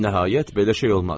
Nəhayət belə şey olmaz.